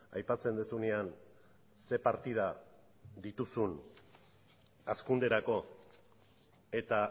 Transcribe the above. aipatzen duzunean ze partida dituzun hazkunderako eta